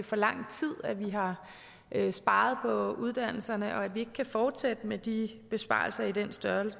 for lang tid vi har har sparet på uddannelserne og at vi ikke kan fortsætte med de besparelser i den